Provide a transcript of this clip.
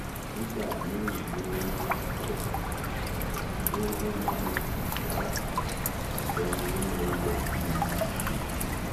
nígbà míín ganan kí wọn tóó bá mi sùn rárá ọbẹ ni wọn máa yọ sí mi